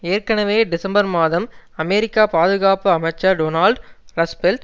ஏற்கனவே டிசம்பர் மாதம் அமெரிக்க பாதுகாப்பு அமைச்சர் டோனால்ட் ரஸ்பெல்ட்